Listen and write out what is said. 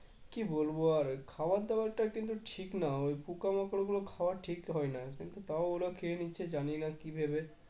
কি বলবো আর খাওয়ার দাওয়ারটা কিন্তু ঠিক না ওই পোকামাকড়গুলো খাওয়া ঠিক হয় না কিন্তু তাও ওরা খেয়ে নিচ্ছে জানিনা কি ভেবে